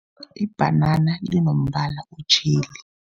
Ibhanana linombala otjheli.